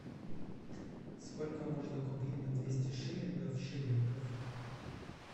сколько можно купить на двести шиллингов шиллингов